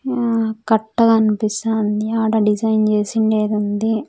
అహ్ కట్ట కన్పిస్తాంది ఆడ డిజైన్ చేసిండేదుంది.